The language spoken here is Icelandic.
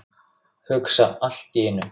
Hugsa allt í einu.